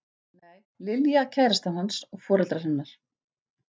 Nei, Lilja kærastan hans og foreldrar hennar.